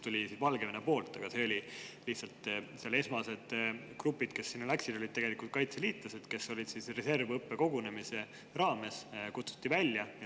Aga tookord olid esmased grupid, kes sinna läksid, tegelikult kaitseliitlased, kes reservõppekogunemise käigus välja kutsuti.